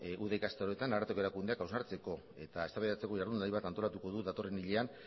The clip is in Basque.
uda ikastaroetan ararteko erakundeak hausnartzeko eta eztabaidatzeko jardunaldi bat antolatuko du datorren hilean